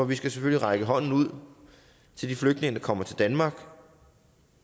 vi skal selvfølgelig række hånden ud til de flygtninge der kommer til danmark